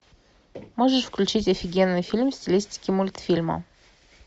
можешь включить офигенный фильм в стилистике мультфильма